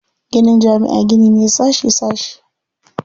Ginin jami'a gini ne sashi sashi.